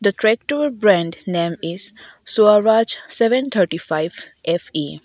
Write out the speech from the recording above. tractor brand name is swaraj seven thirty five F_E--